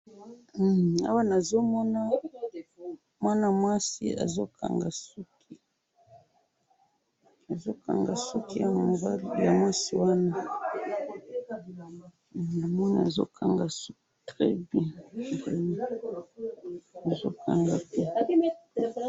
Na moni mwana mwasi azali kolakisa biso suki na ye ndenge ba kangi yango kitoko.